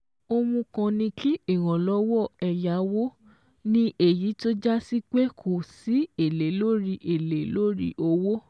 Ohun kan ni kí ìrànlọ́wọ́ ẹ̀yáwó, ní èyí tó jásí pé kò sí èlé lórí èlé lórí owó.